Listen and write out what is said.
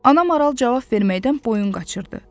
Ana maral cavab verməkdən boyun qaçırdı.